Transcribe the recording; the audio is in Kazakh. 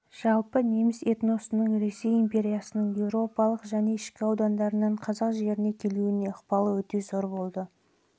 жалпы неміс этносының ресей империясының еуропалық және ішкі аудандарынан қазақ жеріне келуіне ықпалы өте зор